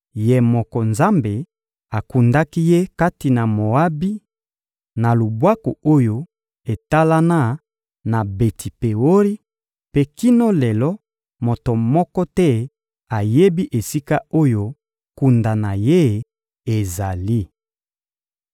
Ye moko Nzambe akundaki ye kati na Moabi, na lubwaku oyo etalana na Beti-Peori; mpe kino lelo, moto moko te ayebi esika oyo kunda na ye ezali.